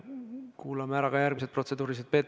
Kuulame ära ka järgmised protseduurilised küsimused.